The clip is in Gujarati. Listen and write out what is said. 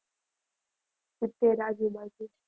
સિત્તેર આજુબાજુ.